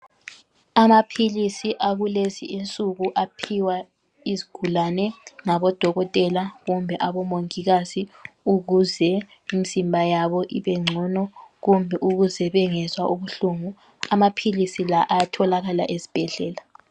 Amaphilisi akulezi insuku aphiwa izigulane ngabodokotela kumbe omongikazi ukuze imizimba yabo ibengcono kube ukuze bengezwa ubuhlungu. Amaphilisi lawa ayatholakala ezibhedlela.